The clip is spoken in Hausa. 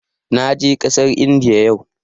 Na je ƙasar Indiya yau